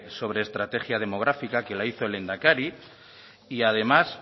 estrategia demográfica que la hizo el lehendakari y además